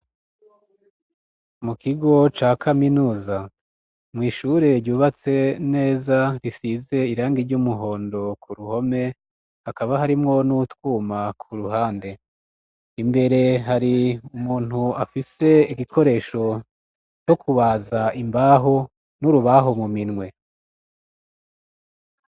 mu kigo ca kaminuza mw'ishure ryubatse neza risize irangi ry'umuhondo ku ruhome hakaba harimwo n'utwuma ku ruhande imbere hari umuntu afise igikoresho co kubaza imbaho n'urubaho mu minwe